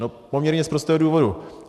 No z poměrně prostého důvodu.